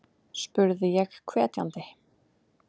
spurði ég hvetjandi.